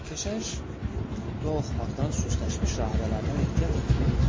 Keşiş dua oxumaqdan süstləşmiş rahibələrdən ehtiyat etmirdi.